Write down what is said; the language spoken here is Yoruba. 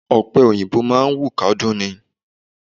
Ọ̀pẹ òyìnbó máà ń wù kádún ni.